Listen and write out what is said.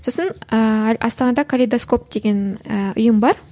сосын ыыы астанада калейдоскоп деген ыыы ұйым бар